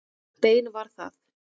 Bein var það.